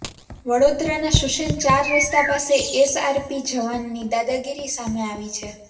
વડોદરાના શુસેન ચાર રસ્તા પાસે એસઆરપી જવાનની દાદાગીરી સામે આવી છે